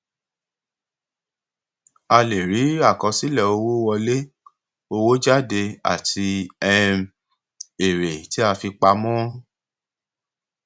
a lè rí àkọsílẹ owó wọlé owó jáde àti um èrè tí a fi pamọ